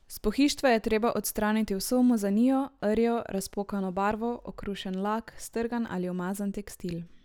S pohištva je treba odstraniti vso umazanijo, rjo, razpokano barvo, okrušen lak, strgan ali umazan tekstil.